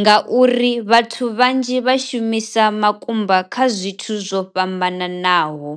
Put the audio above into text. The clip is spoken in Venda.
ngauri vhathu vhanzhi vha shumisa makumba kha zwithu zwo fhambananaho.